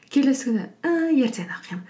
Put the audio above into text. келесі күні ііі ертең оқимын